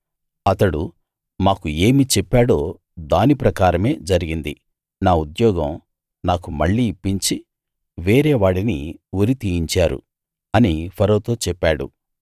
అతడు మాకు ఏమి చెప్పాడో దాని ప్రకారమే జరిగింది నా ఉద్యోగం నాకు మళ్ళీ ఇప్పించి వేరేవాడిని ఉరి తీయించారు అని ఫరోతో చెప్పాడు